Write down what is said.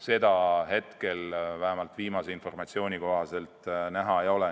Seda vähemalt viimase informatsiooni kohaselt ette näha ei ole.